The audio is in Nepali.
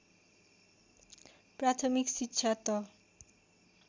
प्राथमिक शिक्षा त